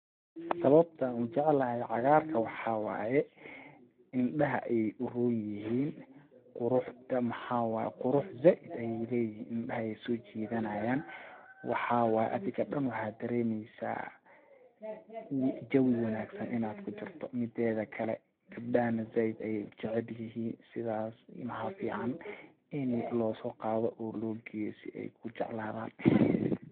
Sawabta aan u jeclahay cagaarka waxaa waye indhaha ayeey u roon yihiin ,quruxda maxaa waye ,qurux zaaid ayeey leyihiin indhaha ayeey soo jidanayaan ,waxaa waay adiga dhan waxaa dareemieysaa jawi wanaagsan inaad kujirto mideeda kale gabdhaha na zaaid ayeey u jcael yihiin ,sidaas maxa fiican ini losoo qaado oo loo geeyo si ay ku jecladaan .